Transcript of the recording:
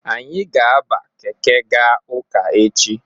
Anyị ga-aba keke ga ụka echi.